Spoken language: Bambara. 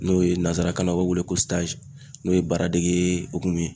N'o ye nanzarakanna o wele ko n'o ye baara dege hokumu ye